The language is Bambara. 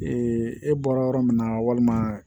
e bɔra yɔrɔ min na walima